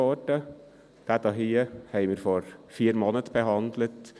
Diesen hier haben wir vor vier Monaten behandelt.